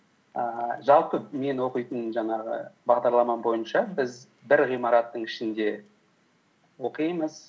ііі жалпы мен оқитын жаңағы бағдарлама бойынша біз бір ғимараттың ішінде оқимыз